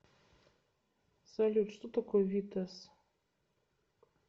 салют что такое витесс